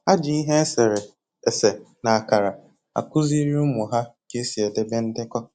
Ha ji ihe esere ese na akara akụziri ụmụ ha ka esi edebe ndekọ